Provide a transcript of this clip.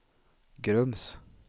Grums